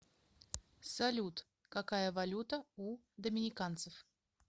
салют какая валюта у доминиканцев